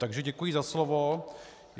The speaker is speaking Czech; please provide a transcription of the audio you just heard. Takže děkuji za slovo.